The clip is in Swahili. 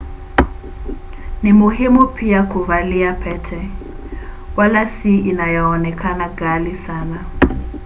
ni muhimu pia kuvalia pete wala si inayoonekana ghali sana